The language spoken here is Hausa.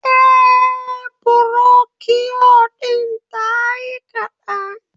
Eh, burokiyo din tayi kaɗan